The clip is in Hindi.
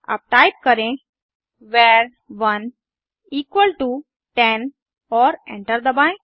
अब टाइप करें वर1 इक्वल टो 10 और एंटर दबाएं